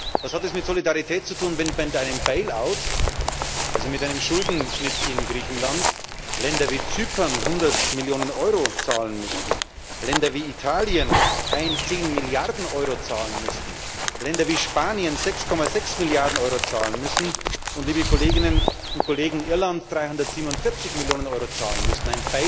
Was hat es mit Solidarität zu tun, wenn mit einem Bail out also mit einem Schuldenschnitt in Griechenland, Länder wie Zypern 100 Millionen Euro zahlen müssten, Länder wie Italien 10 Milliarden Euro zahlen müssten, Länder wie Spanien 6,6 Milliarden Euro zahlen müssten und Irland 347 Millionen Euro zahlen müsste?